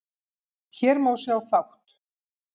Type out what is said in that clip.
Hér má sjá þátt